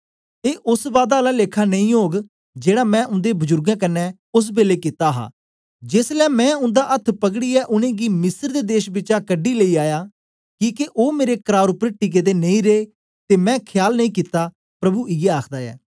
ए ओस बादा आला लेखा नेई ओग जेड़ा मैं उन्दे बजुर्गें कन्ने ओस बेलै कित्ता हा जेसलै मैं उन्दा अथ्थ पकड़ीयै उनेंगी मिस्र दे देश बिचा कढी लेई आया किके ओ मेरे करार उपर टिके दे नेई रे ते मैं खयाल नेई कित्ता प्रभु इयै आखदा ऐ